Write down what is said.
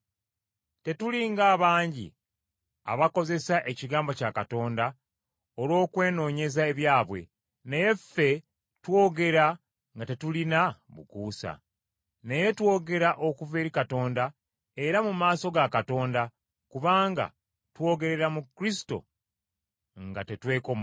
Tetuli ng’abangi abakozesa ekigambo kya Katonda olw’okwenoonyeza ebyabwe, naye ffe twogera nga tetuliimu bukuusa. Naye twogera okuva eri Katonda era mu maaso ga Katonda, kubanga twogerera mu Kristo nga tetwekomoma.